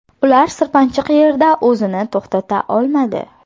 Ular sirpanchiq yerda o‘zini to‘xtata olmadi.